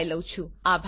જોડાવા બદ્દલ આભાર